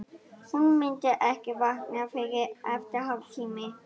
Hún myndi ekki vakna fyrren eftir hálftíma.